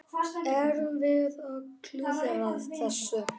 Erum við að klúðra þessu?